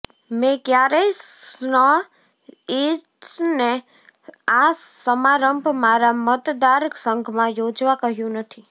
મેં ક્યારેય સ્સ્ઇડ્ઢછને આ સમારંભ મારા મતદારસંઘમાં યોજવા કહ્યું નથી